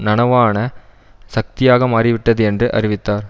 நனவான சக்தியாக மாறிவிட்டது என்று அறிவித்தார்